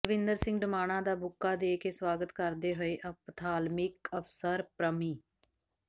ਬਲਵਿੰਦਰ ਸਿੰਘ ਡਮਾਣਾ ਦਾ ਬੁੱਕਾ ਦੇ ਕੇ ਸਵਾਗਤ ਕਰਦੇ ਹੋਏ ਅਪਥਾਲਮਿਕ ਅਫਸਰ ਪ੍ਰਮਿ